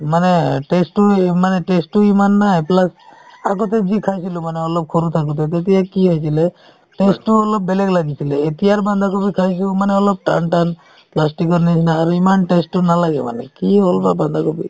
মানে test তো মানে taste তো ইমান নাই plus আগতে যি খাইছিলো মানে অলপ সৰু থাকোতে তেতিয়া কি আছিলে taste তো অলপ বেলেগ লাগিছিলে এতিয়াৰ বান্ধাকবি খাইছো মানে অলপ টান টান plastic ৰ নিচিনা আৰু ইমান taste তো নালাগে মানে কি হ'ল বা বান্ধাকবি